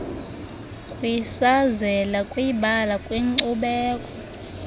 kwisazela kwibala kwinkcubeko